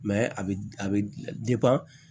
a bɛ a bɛ